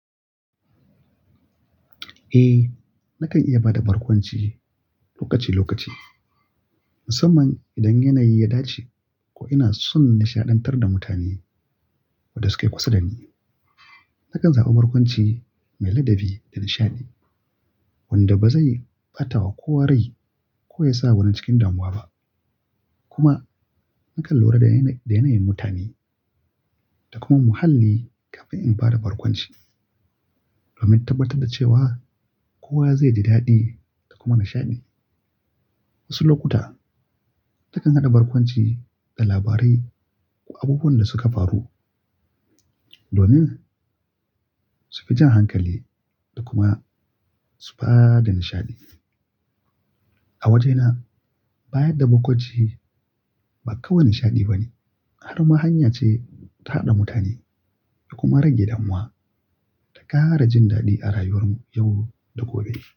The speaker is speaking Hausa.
Eh, nakan iya ba da barkwanci lokaci-lokaci. Musamman idan yanayi ya dace ko ina son nishaɗantar da mutane waɗanda suke kusa da ni. Nakan zaɓi barkwanci mai ladabi da nishaɗi wanda ba zai ɓata wa kowa rai ko ya sa wani cikin damuwa ba. Kuma nakan lura da yanayin mutane da kuma muhalli kafin in ba da barkwanci domin tabbatar da cewa kowa zai ji daɗi da kuma nishaɗi. Wasu lokuta takan haɗa barkwanci da labarai ko abubuwan da suka faru domin su fi jan hankali da kuma su ba da nishaɗi. A wajena, bayar da barkwanci ba kawai nishaɗi bane har ma hanya ce ta haɗa mutane da kuma rage damuwa da ƙara jin daɗi a rayuwar mu yau da gobe.